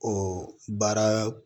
O baara